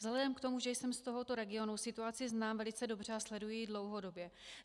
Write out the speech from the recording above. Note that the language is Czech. Vzhledem k tomu, že jsem z tohoto regionu, situaci znám velice dobře a sleduji ji dlouhodobě.